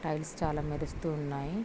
Tiles చాలా మెరుస్తూ ఉన్నాయి.